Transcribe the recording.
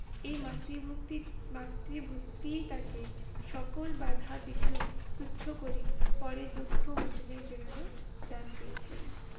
এই মাতৃভক্তির মাতৃভক্তিই তাকে সকল বাধা বিঘ্ন তুচ্ছ করে, পরে দুঃখ মোচনের প্রেরণা দান করেছিলেন।